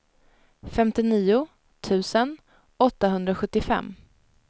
femtionio tusen åttahundrasjuttiofem